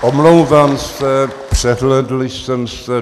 Omlouvám se, přehlédl jsem se.